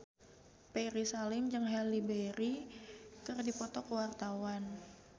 Ferry Salim jeung Halle Berry keur dipoto ku wartawan